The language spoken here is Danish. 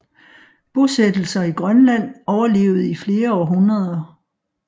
Bosættelser i Grønland overlevede i flere århundreder